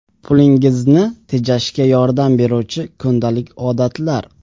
Pulingizni tejashga yordam beruvchi kundalik odatlar.